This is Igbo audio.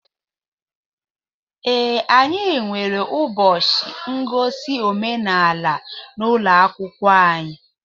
Ee, anyị nwere ụbọchị ngosi omenaala n'ụlọ akwụkwọ anyị